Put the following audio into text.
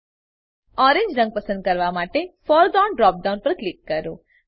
orange રંગ પસંદ કરવા માટે ફોરગ્રાઉન્ડ ડ્રોપ ડાઉન પર ક્લિક કરો